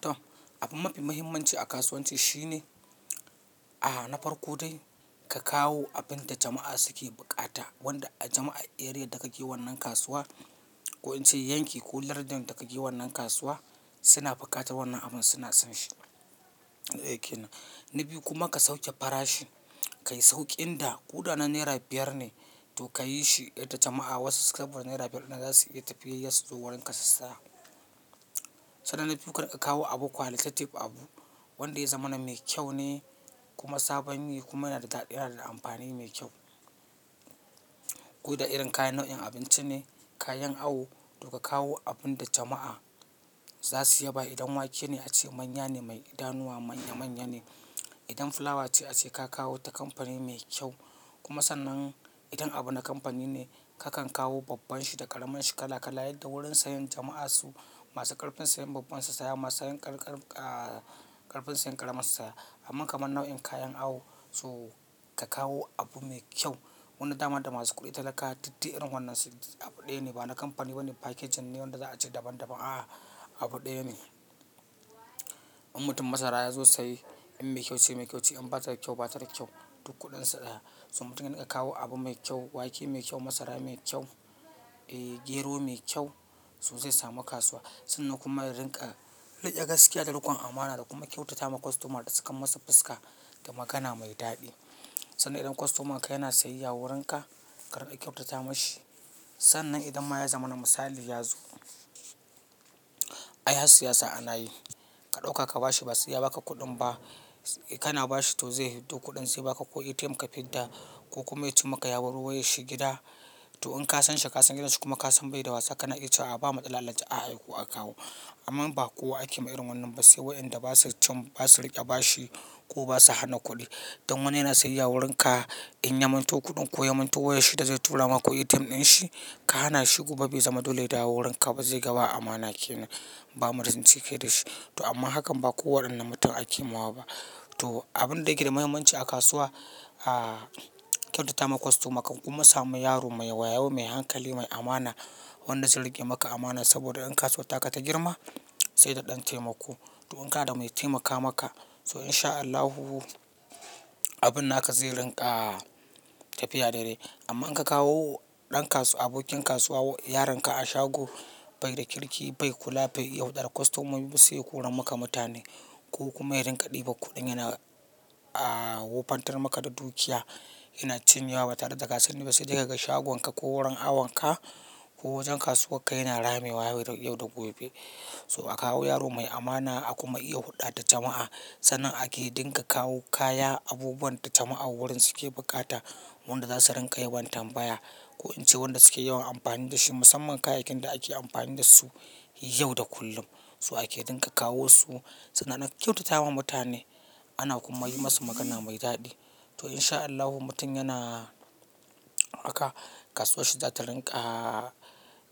To, abin mafi muhimmanci a kasuwanci shine, a'a na farko dai ka kawo abin da jama'a suke bukata, wanda a jama'a, area da kake wannan kasuwa, ko in ce yanki ko lardin da kake wannan kasuwa suna bukata wannan abin suna son shi. Na daya kenan. Na biyu kuma ka sauke farashi, ka yi sauƙin da kuɗa na naira biyar ne, to ka yi shi yadda jama'a wasu kamar naira biyar na za su iya tafiyar su zuwa wurin ka su saya. Sannan na biyu karinka kawo abu qualitative abu, wanda ya zama na mai kyau ne kuma sabon yi kuma yana da daɗi yana da amfani mai kyau. Ku da irin kayan nau'in abinci ne, kayan awo, to ka kawo abun da jama'a za su iya ba idan wake ne a ce manya ne mai idanuwa manya manya ne. Indan flawace ace ka kawo ta kamfani mai kyau kuma sannan idan abu na kamfani ne ka kan kawa babban shi da karamin shi kala kala yadda wurin siyan jam'a masu karfin siyan babban su siya, masu karfin siyan karaman su siya amma kamar nau'in kayan awo, so ka kawo abu mai kyau. Wannan dama da masu kuɗi da talaka dak dai irin wannan su abu ɗaya ne ba na kamfani bane packaging ne wanda za a ce daban daban aaaa abu ɗaya ne. In mutum masara ya zo saye in mai kyau ce mai kyau ce in bata da kyau bata da kyau duk kuɗin sa daya. So mutum yarinka kawo abu mai kyau, wake mai kyau, masara mai kyau, ee gero mai kyau, so zai samu kasuwa. Sannan kuma ya rinka riƙe gaskiya da riƙon amana da kuma kyautata wa customer da sakan masa fuska da magana mai daɗi. Sannan idan customer ka yana siyayya wurin ka, karinka kyautata mashi. Sannan idan ma ya zama na misali ya zo, ai har siyasa ana yi, ka ɗauka ka bashi ba siyaba ka kuɗin ba, kana bashi to zai fi do kuɗin sai ba ka ko ATM ka fidda ko kuma ya ci maka ya bar wayar shi gida. To in ka san shi ka san gidan shi kuma ka san bai da wasa kana iya cewa a'a ba matsala Alhaji a aiko aka kawo. Amma ba kowa ake ma irin wannan ba sai waɗanda ba su cin ba su riƙe ba shi ko ba su hana kuɗi. Don wani yana siyayya wurin ka in ya manto kuɗin ko ya manto wayar shi da zai tura ma ko ATM ɗin shi, ka hana shi gobe bai zama dole ya dawo wurin ka ba zai ga ba amana kenan. Ba muda zance kai da shi to amma hakan ba ko waɗannan mutum ake ma wa ba. Toh abin da yake da mahimmanci a kasuwa ah kyauta ta ma customer ka kuma samu yaro mai wayyo, mai hankali, mai amana wanda zai riƙe maka amana saboda in kasuwar ta ka ta girma sai da ɗan taimako. To in ka da mai taimaka maka so in sha Allahu abun naka zai rinƙa tafiya daidai. Amma in ka kawo ɗan kasu abokin kasuwa yaron ka a shago bai da kirki bai kula bai yaudara customer sai ya ƙoran maka mutane ko kuma ya rinka diban kudin yana ah wobantar maka da dukiya yana cinye wa ba tare da ka sani ba sai dai kaga shagon ka ko kasuwanka yana rame wa yau da gobe. So a kawo yaro mai amana a kuma iya hurɗa da jama'a. Sannan ake dinka kawo kaya abubuwan da jama'a wurin suke bukata, wanda za su ringa yawan tambaya ko in ce wanda suke yawan amfani da shi musamman kayakin da ake amfani da su yau da kullum. Toh ake dinga kawo su sannan ana kyautatawa mutane ana kuma yi masu magana mai daɗi. To in sha Allahu mutum yana haka kasuwar shi za ta rinƙa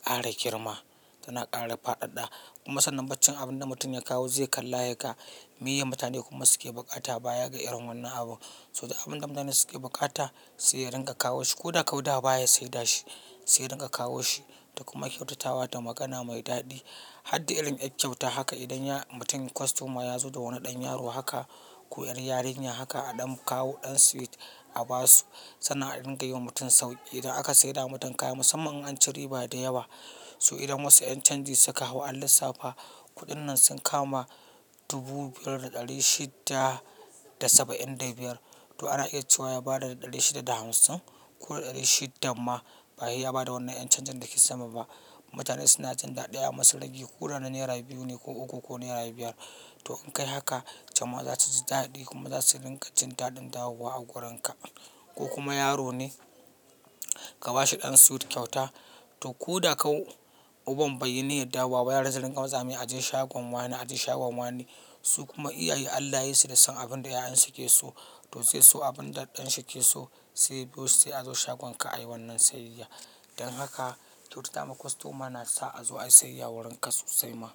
ƙara girma tana ƙara fadadda. Kuma sannan baccin abin da mutum ya kawo zai kalla yaka miye mutane kuma suke bukata baya ga irin wannan abu. So abin da mutane suke bukata sai ringa kawo shi ko da kauda baya saida shi sai ringa kawo shi da kuma kyautatawa da magana mai daɗi. Harda irin er kyauta haka idan ya mutum customer yazo da wani dan yaro haka, ko er yarinya haka a dan kawo dan sweet a basu. Sannan a dinga yi wa mutum sauƙi. Idan aka saida wa mutum kaya musamman in an ci riba da yawa so idan wasu ƴan canji suka kawo allissafa kuɗin nan sun kama dubu biyar da ɗari shida da saba'in da biyar to ana iya cewa ya bada ɗari shida da hamsin ko ɗari shidan ma ba sai ya bada wannan ƴan canjin dake sama ba. Mutane suna jan daɗi a masu ragi ko rana naira biyu ne ko uku ko naira biyar. Toh in kai haka jam'a zasu ji dadi, kuma zasu dinga ji dadin dawo wa wurin ka koh kuma yaro ne ka bashi dan sweet kwaita toh koda kau uban bayyininar dawowa yara su ringa matsamai a je shagon wane a je shagon wane su kuma iyaye Allah yayi su da san abin da ƴaƴansu ke so to zai so abin da ɗan shi ke so sai ya biyo su sai a zo shagonka a yi wannan siyayya. Don haka kyautata ma customer na sa a zo ayi siyayya wurin ka sosai ma.